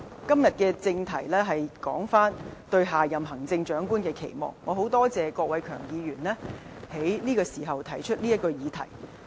今天的正題是討論"對下任行政長官的期望"，我很感謝郭偉强議員此時提出這項議題。